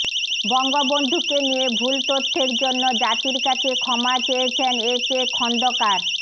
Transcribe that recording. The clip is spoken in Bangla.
বঙ্গবন্ধুকে নিয়ে ভুল তথ্যের জন্য জাতির কাছে ক্ষমা চেয়েছেন এ কে খন্দকার